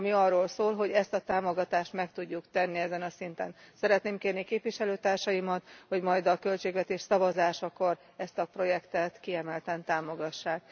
Ami arról szól, hogy ezt a támogatást meg tudjuk tenni ezen a szinten. Szeretném kérni képviselőtársaimat, hogy majd a költségvetés szavazásakor ezt a projektet kiemelten támogassák.